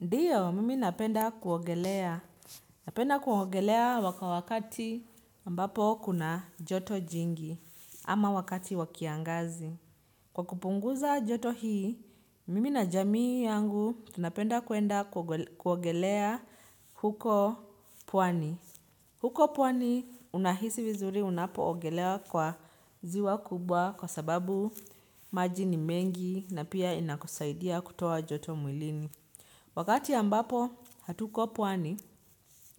Ndio mimi napenda kuogelea. Napenda kuogelea wakati ambapo kuna joto jingi ama wakati wakiangazi. Kwa kupunguza joto hii, mimi na jamii yangu tunapenda kuenda kuogelea huko pwani. Huko pwani unahisi vizuri unapo ogelea kwa ziwa kubwa kwa sababu maji ni mengi na pia inakusaidia kutoa joto mwilini. Wakati ambapo hatuko pwani,